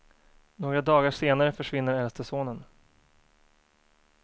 Några dagar senare försvinner äldste sonen.